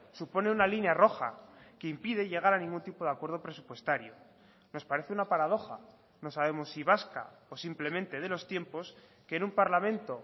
supone una línea roja que impide llegar a ningún tipo de acuerdo presupuestario nos parece una paradoja no sabemos si vasca o simplemente de los tiempos que en un parlamento